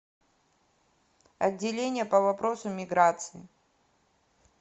отделение по вопросам миграции